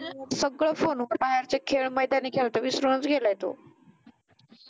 सगळ फोनवर बाहेरचे खेळ मैदानी खेळ तर विसरूनच गेलाय तो